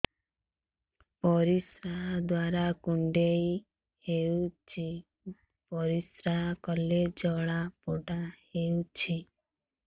ପରିଶ୍ରା ଦ୍ୱାର କୁଣ୍ଡେଇ ହେଉଚି ପରିଶ୍ରା କଲେ ଜଳାପୋଡା ହେଉଛି